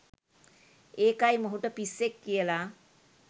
ඒකයි මොහුට “පිස්සෙක්” කියලා